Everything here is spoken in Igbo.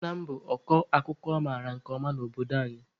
Nna m bụ ọkọ akụkọ a mara nke ọma n'obodo anyị.